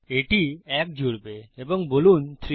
এটি এক জুড়বে এবং বলুন 3